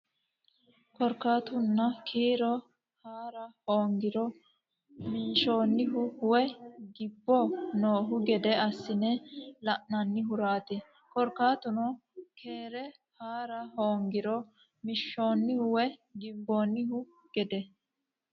Korkaatuno keere haa ra hoongiro minshoonnihu woy gibbo noohu gede assine la nannihuraati Korkaatuno keere haa ra hoongiro minshoonnihu woy gibbo noohu gede.